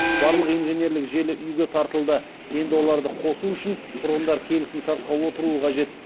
барлық инженерлік желі үи ге тартылды енді оларды қосу үшін тұрғындар келісімшартқа отыруы қажет